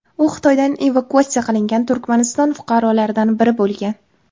U Xitoydan evakuatsiya qilingan Turkmaniston fuqarolaridan biri bo‘lgan.